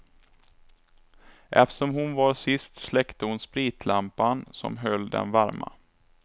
Eftersom hon var sist släckte hon spritlampan som höll dem varma.